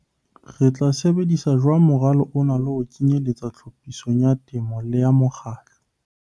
Re tla sebedisa jwang moralo ona le ho o kenyelletsa tlhophisong ya temo le ya mokgatlo?